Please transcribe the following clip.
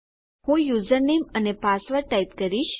હું યુઝરનેમ અને password type કરીશ